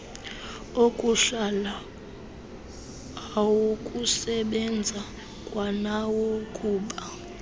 okuhlala awokusebenza kwanawokuba